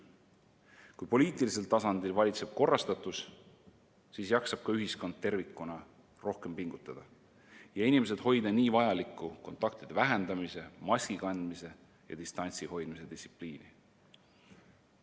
Kui poliitilisel tasandil valitseb korrastatus, siis jaksab ka ühiskond tervikuna rohkem pingutada ning inimesed suudavad järgida nii vajalikku kontaktide vähendamise, maski kandmise ja distantsi hoidmise distsipliini.